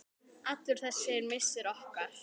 Allur þessi missir okkar.